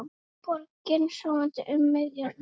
Borgin sofandi um miðja nótt.